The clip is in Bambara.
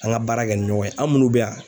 An ka baara kɛ ni ɲɔgɔn ye an minnu bɛ yan